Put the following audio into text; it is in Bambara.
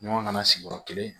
Ɲɔgɔn kana sigiyɔrɔ kelen